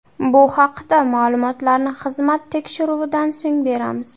Bu haqida ma’lumotlarni xizmat tekshiruvidan so‘ng beramiz.